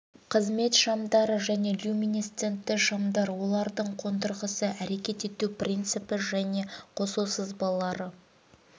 қызмет шамдары және люминесцентті шамдар олардың қондырғысы әрекет ету принципі және қосу сызбалары